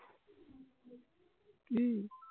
কি